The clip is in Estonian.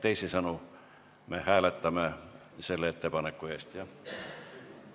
Teisisõnu, me hääletame selle ettepaneku poolt või vastu.